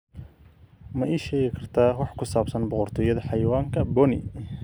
ma ii sheegi kartaa wax ku saabsan boqortooyada xayawaanka boni